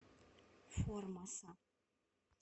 формоса